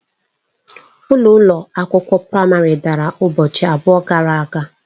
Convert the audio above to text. Ụlọ ụlọ akwụkwọ praịmarị dara ụbọchị abụọ gara aga.